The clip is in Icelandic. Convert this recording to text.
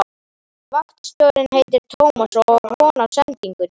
Vaktstjórinn heitir Tómas og á von á sendingunni.